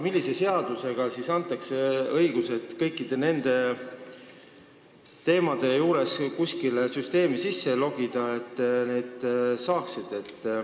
Millise seadusega antakse õigused kõikide nende teemade puhul kuskile süsteemi sisse logida?